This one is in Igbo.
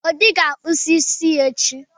Obi ga-akpazụ isi ya echi.